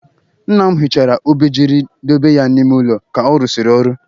Nna m hichara obejiri dobe ya n'ime ụlọ ka ọ rụsịrị ọrụ.